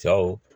Cɛw